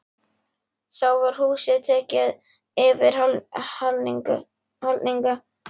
Þá var húsið tekið í yfirhalningu.